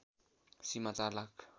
Seema ४ lakh